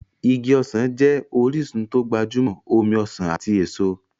Igi ọsàn jẹ́ orísun tó gbajúmọ̀ omi ọsàn ati èso.